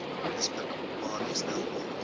beskikbaar gestel word